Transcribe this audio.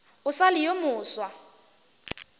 o sa le yo mofsa